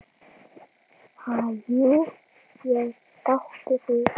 Ha, jú ég játti því.